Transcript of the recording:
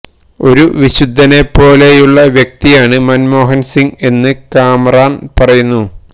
ഒരു വിശുദ്ധനെ പോലെയുള്ള വ്യക്തിയാണ് മന്മോഹന് സിങ് എന്ന് കാമറണ് പറയുന്നു